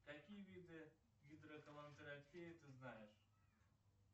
какие виды гидроколонотерапии ты знаешь